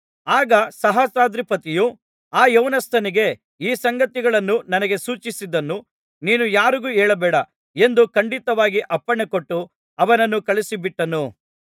ಆಗ ಸಹಸ್ರಾಧಿಪತಿಯು ಆ ಯೌವನಸ್ಥನಿಗೆ ಈ ಸಂಗತಿಗಳನ್ನು ನನಗೆ ಸೂಚಿಸಿದ್ದನ್ನು ನೀನು ಯಾರಿಗೂ ಹೇಳಬೇಡ ಎಂದು ಖಂಡಿತವಾಗಿ ಅಪ್ಪಣೆ ಕೊಟ್ಟು ಅವನನ್ನು ಕಳುಹಿಸಿಬಿಟ್ಟನು